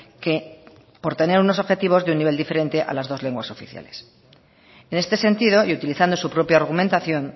que por tener unos objetivos y un nivel diferente a las dos lenguas oficiales en este sentido y utilizando su propia argumentación